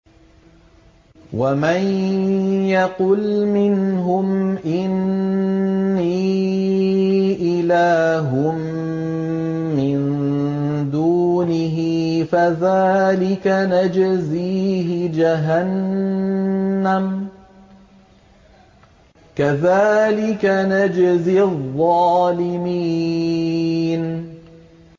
۞ وَمَن يَقُلْ مِنْهُمْ إِنِّي إِلَٰهٌ مِّن دُونِهِ فَذَٰلِكَ نَجْزِيهِ جَهَنَّمَ ۚ كَذَٰلِكَ نَجْزِي الظَّالِمِينَ